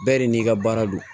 Bɛɛ de n'i ka baara don